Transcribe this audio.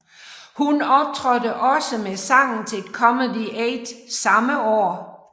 Hun optrådte også med sangen til Comedy Aid samme år